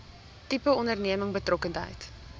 tipe onderneming betrokkenheid